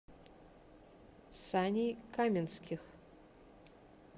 саней каменских